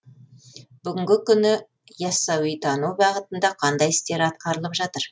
бүгінгі күні ясауитану бағытында қандай істер атқарылып жатыр